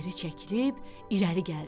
Geri çəkilib irəli gəldi.